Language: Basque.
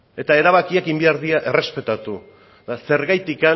eta erabakiak egin behar dira errespetatu eta zergatik